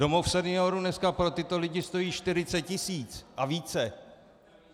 Domov seniorů dneska pro tyto lidi stojí 40 tisíc a více.